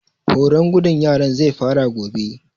Horon gudun yaran zai fara gobe